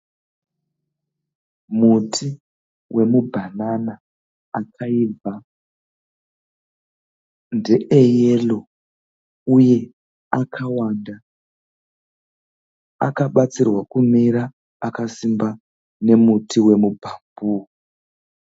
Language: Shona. Muti wemubhanana akaibva. Ndeeyero uye akawanda. Akabatsirwa kumira akasimba nemuti wemubhambuu.